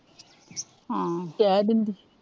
ਹਮ ਕਿਹ ਦਿੰਦੀ